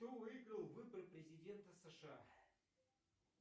кто выиграл выборы президента сша